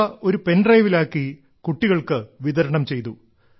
ഇവ ഒരു പെൻഡ്രൈവിൽ ആക്കി കുട്ടികൾക്ക് വിതരണം ചെയ്തു